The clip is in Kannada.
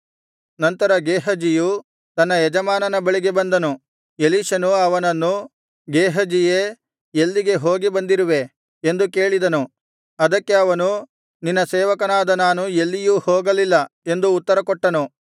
ನಂತರ ಗೇಹಜಿಯು ತನ್ನ ಯಜಮಾನನ ಬಳಿಗೆ ಬಂದನು ಎಲೀಷನು ಅವನನ್ನು ಗೇಹಜಿಯೇ ಎಲ್ಲಿಗೆ ಹೋಗಿ ಬಂದಿರುವೆ ಎಂದು ಕೇಳಿದನು ಅದಕ್ಕೆ ಅವನು ನಿನ್ನ ಸೇವಕನಾದ ನಾನು ಎಲ್ಲಿಯೂ ಹೋಗಲಿಲ್ಲ ಎಂದು ಉತ್ತರಕೊಟ್ಟನು